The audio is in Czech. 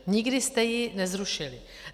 Nikdy jste ji nezrušili.